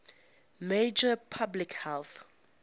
major public health